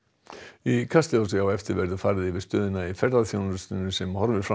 í Kastljósi á eftir verður farið yfir stöðuna í ferðaþjónustunni sem horfir fram á